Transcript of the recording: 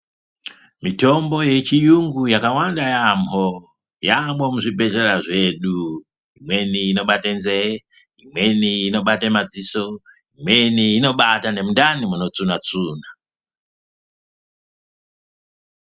Mitombo yechiyungu yakawanda yaamwo. Yaamwo muzvibhedleya zvedu. Imweni inobate nzee, imweni inobate madziso, imweni inobate nemundani munotsvunha tsvunha.